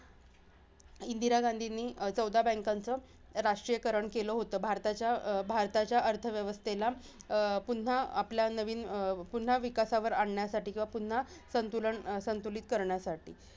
इंदिरा गांधींनी चौदा banks चं राष्ट्रीयकरण केलं होतं. भारताच्या अं भारताच्या अर्थव्यवस्थेला अं पुन्हा आपला नवीन अं पुन्हा विकासावर आणण्यासाठी किंवा पुन्हा संतुलन संतुलित करण्यासाठी.